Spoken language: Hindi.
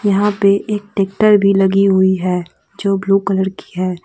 यहां पे एक ट्रैक्टर भी लगी हुई है जो ब्लू कलर की है।